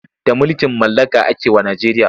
Da mulkin mallaka ake wa Najeriya.